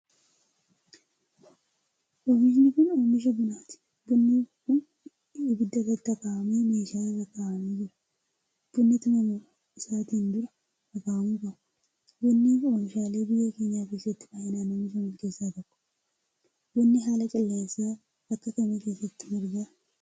Oomishni kun, oomisha bunaati. Bunni kun, ibidda irratti akaawwamee meeshaa irra kaawwamee jira. Bunni, tumamuu isaatin dura, akaawwamuu qaba. Bunni ,oomishaalee biyya keenya keessatti baay'inaan oomishaman keessa tokko. Bunni haala qilleensaa akka kamii keessatti marga?